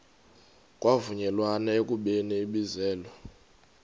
kwavunyelwana ekubeni ibizelwe